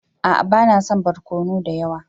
A'a ba na son barkono da yawa.